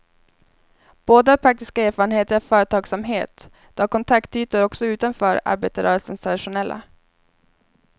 Båda har praktiska erfarenheter av företagsamhet, de har kontaktytor också utanför arbetarrörelsens traditionella.